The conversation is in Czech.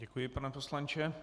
Děkuji, pane poslanče.